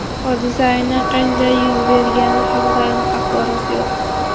Hodisa aynan qanday yuz bergani haqida aniq axborot yo‘q.